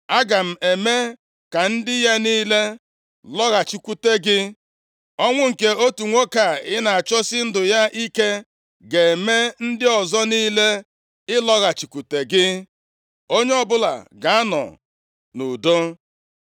Aga m eme ka ndị ya niile lọghachikwute gị. Ọnwụ nke otu nwoke a ị na-achọsi ndụ ya ike ga-eme ndị ọzọ niile ịlọghachikwute gị, onye ọbụla ga-anọ nʼudo.”